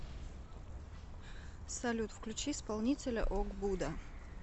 салют включи исполнителя ог буда